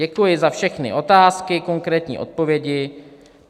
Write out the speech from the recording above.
Děkuji za všechny otázky, konkrétní odpovědi."